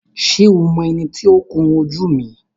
Ṣé o mọ ẹni tí ó ń kun jú mi?